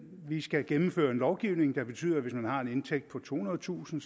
vi skal gennemføre en lovgivning der betyder at hvis man har en indtægt på tohundredetusind